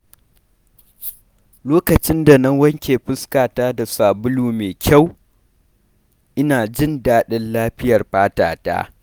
Lokacin da na wanke fuskata da sabulu mai kyau, ina jin daɗin lafiyar fata ta.